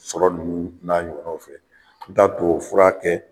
Sɔrɔ ninnu n'a ɲɔgɔnnaw fɛ, n t'a tubabufura kɛ